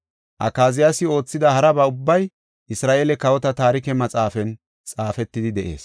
Akaziyaasi oothida haraba ubbay Isra7eele Kawota Taarike Maxaafan xaafetidi de7ees.